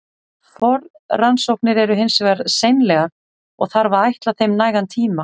Forrannsóknir eru hins vegar seinlegar, og þarf að ætla þeim nægan tíma.